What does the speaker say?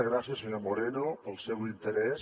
gràcies senyor moreno pel seu interès